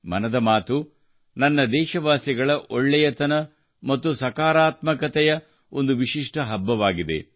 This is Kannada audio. ಮನದ ಮಾತು ದೇಶವಾಸಿಗಳ ಒಳ್ಳೆಯತನ ಮತ್ತು ಸಕಾರಾತ್ಮಕತೆಯ ಒಂದು ವಿಶಿಷ್ಟ ಹಬ್ಬವಾಗಿದೆ